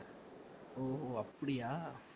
ஓ அப்படியா